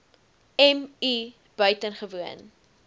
m i buitengewoon